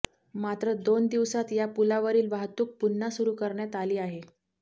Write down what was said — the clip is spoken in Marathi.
मात्र दोन दिवसात या पुलावरील वाहतूक पुन्हा सुरु करण्यात आली आहे